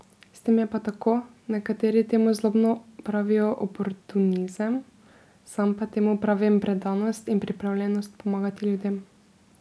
S tem je pa tako, nekateri temu zlobno pravijo oportunizem, sam pa temu pravim predanost in pripravljenost pomagati ljudem.